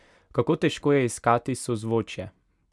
Kako težko je iskati sozvočje?